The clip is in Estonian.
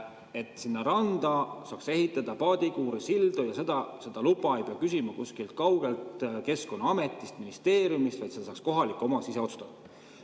Et sinna randa saaks ehitada paadikuuri, silda – seda luba ei pea küsima kuskilt kaugelt Keskkonnaametist või ministeeriumist, vaid seda saab kohalik omavalitsus ise otsustada.